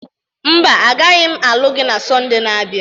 Mba, agaghị m alụ gị na Sọnde na-abịa.